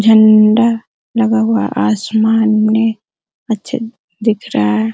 झंडा लगा हुआ है आसमान में अच्छा दिख रहा है।